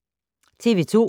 TV 2